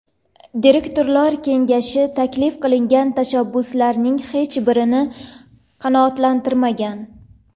Direktorlar kengashi taklif qilingan tashabbuslarning hech birini qanoatlantirmagan.